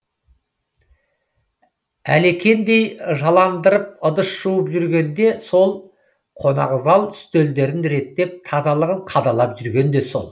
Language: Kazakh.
әлекендей жаландырып ыдыс жуып жүрген де сол қонақзал үстелдерін реттеп тазалығын қадағалап жүрген де сол